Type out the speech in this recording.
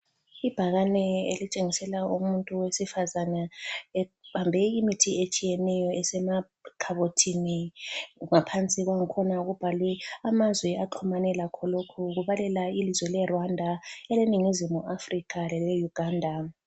Ibhakane elitshengisela umuntu wesifazane ebambe imithi etshiyeneyo esemakhabothini, ngaphansi kwangkhona kubhalwe amazwe axhumane lakho lokhu kubalela ilizwe le Rwanda, ele Ningizimu Africa lele Uganda.